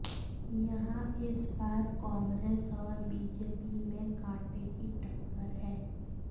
यहां इस बार कांग्रेस और बीजेपी में कांटे की टक्कर है